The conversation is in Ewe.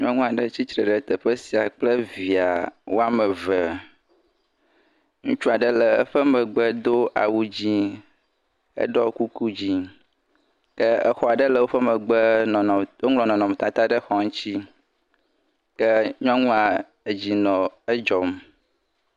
Nyɔnu aɖe tsi tre ɖe teƒe sia kple via woame eve. Ŋutsu aɖe le eƒe megbe do awu dzɛ̃, eɖɔ kuku dzɛ̃ ke xɔ aɖe le woƒe megbe woŋlɔ nɔnɔmetata ɖe xɔ ŋuti ke nyɔnua dzi nɔ edzɔm.